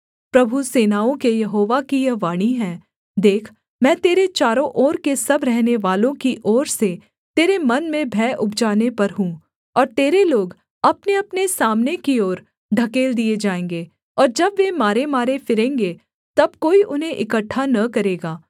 प्रभु सेनाओं के यहोवा की यह वाणी है देख मैं तेरे चारों ओर के सब रहनेवालों की ओर से तेरे मन में भय उपजाने पर हूँ और तेरे लोग अपनेअपने सामने की ओर ढकेल दिए जाएँगे और जब वे मारेमारे फिरेंगे तब कोई उन्हें इकट्ठा न करेगा